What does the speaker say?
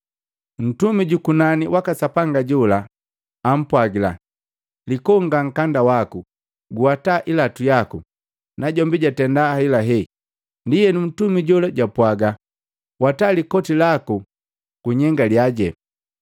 Ntumi jukunani waka Sapanga jola ampwagila, “Likonga nkanda waku, guwata ilatu yaku.” Najombi jwatenda helahela. Ndienu Ntumi jola jwapwaga, “Wata likoti laku, gunyengalya.”